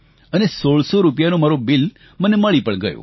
અને 1600 રૂપિયા મારું બિલ મને મળી પણ ગયું